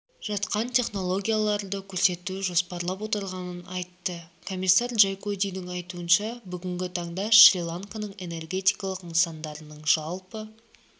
жатқан технологияларды көрсетуді жоспарлап отырғанын айтты комиссар джайкодидің айтуынша бүгінгі таңда шри-ланканың энергетикалық нысандарының жалпы